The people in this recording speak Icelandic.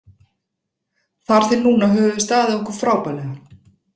Þar til núna höfum við staðið okkur frábærlega.